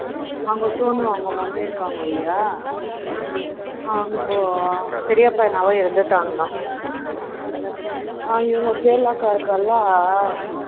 அவங்க Sonu அவங்க mummy இருக்காங்க இல்லியா அவங்க பெரியப்பா மகன் இறந்துட்டாங்களாம் ம் ம் இவங்க கேரளா அக்கா இருக்காள